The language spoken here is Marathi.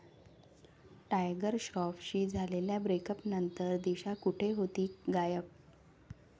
टायगर श्रॉफशी झालेल्या ब्रेकअपनंतर दिशा कुठे होती गायब?